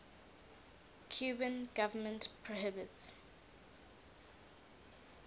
cuban government prohibits